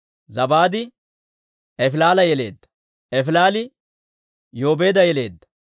Zabaad Efilaala yeleedda; Efilaali Yoobeeda yeleedda;